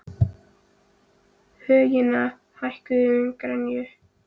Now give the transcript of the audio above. Högna, hækkaðu í græjunum.